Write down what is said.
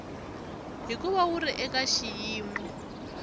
hikuva wu ri eka xiyimo